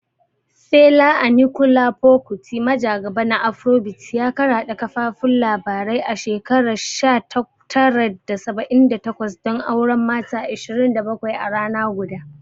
Fela Anikulapo Kuti, majagaba na Afrobeats, ya karaɗe kafafun labarai a shekarar 1978 don auren mata 27 a rana guda.